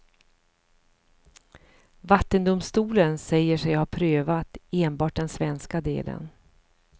Vattendomstolen säger sig ha prövat enbart den svenska delen.